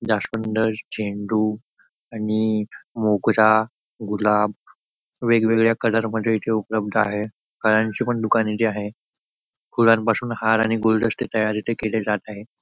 जास्वंड झेंडू आणि मोगरा गुलाब वेगवेगळ्या कलर मध्ये इथे उपलब्ध आहे फळांची पण दुकान येथे आहे फुलांपासून हारा आणि गुलदस्ते तयार इथे केले जात आहे.